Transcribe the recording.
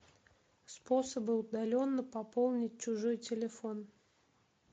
способы удаленно пополнить чужой телефон